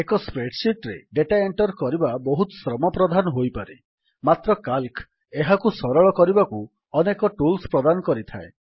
ଏକ spreadsheet ରେ data enter କରିବା ବହୁତ ଶ୍ରମ ପ୍ରଧାନ ହୋଇପାରେ ମାତ୍ର ସିଏଏଲସି ଏହାକୁ ସରଳ କରିବାକୁ ଅନେକ ଟୁଲ୍ସ ପ୍ରଦାନ କରିଥାଏ